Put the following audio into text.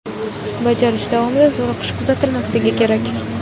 Bajarish davomida zo‘riqish kuzatilmasligi kerak.